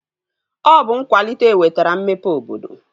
Ọ bụ nkwalite wetara mmepe obodo